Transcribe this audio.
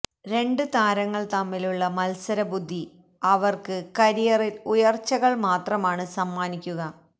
രണ്ട് താരങ്ങള് തമ്മിലുള്ള മത്സരബുദ്ധി അവര്ക്ക് കരിയറില് ഉയര്ച്ചകള് മാത്രമാണ് സമ്മാനിക്കുക